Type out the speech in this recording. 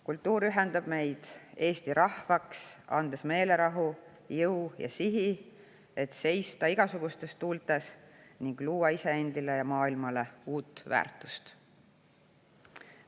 Kultuur ühendab meid Eesti rahvaks, andes meelerahu, jõu ja sihi, et seista igasugustes tuultes ning luua iseendile ja maailmale uut väärtust.